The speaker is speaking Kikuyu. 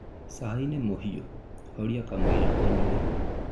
Cai nĩ mũhiũ, horia kamũira ũnyue